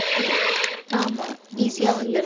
ஆமா easy ஆ வந்துருது